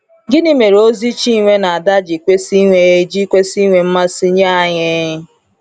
Gịnị mere ozi Chinwe na Ada ji kwesị inwe ji kwesị inwe mmasị nye anyị?